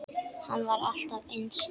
Hann var alltaf eins.